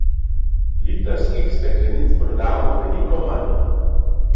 Litrskih steklenic prodamo veliko manj.